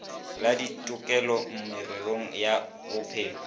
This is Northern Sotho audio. le ditokelo mererong ya bophelo